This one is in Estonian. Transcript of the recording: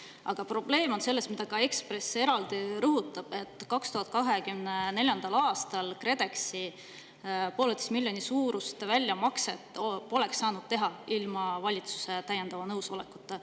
Aga probleem on selles – mida ka Ekspress eraldi rõhutab –, et 2024. aastal poleks KredEx pooleteise miljoni suurust väljamakset saanud teha ilma valitsuse täiendava nõusolekuta.